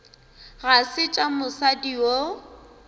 ga se tša mosadi yo